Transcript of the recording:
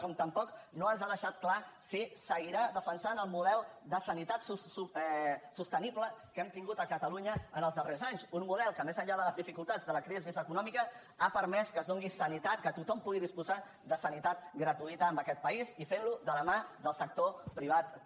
com tampoc no ens ha deixat clar si seguirà defensant el model de sanitat sostenible que hem tingut a catalunya en els darrers anys un model que més enllà de les dificultats de la crisi econòmica ha permès que es doni sanitat que tothom pugui disposar de sanitat gratuïta en aquest país i fent ho de la mà del sector privat també